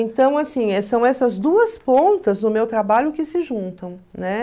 Então, assim, são essas duas pontas do meu trabalho que se juntam, né?